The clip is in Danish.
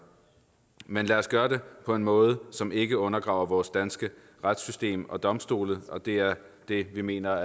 men lad os gøre det på en måde som ikke undergraver vores danske retssystem og domstole det er det vi mener